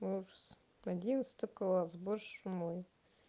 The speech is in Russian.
ужас одиннадцатый класс боже ж мой